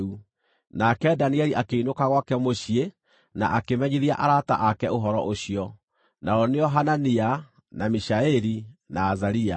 Nake Danieli akĩinũka gwake mũciĩ na akĩmenyithia arata ake ũhoro ũcio, nao nĩo Hanania, na Mishaeli, na Azaria.